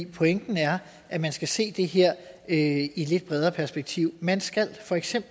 pointen er at man skal se det her i et lidt bredere perspektiv man skal feks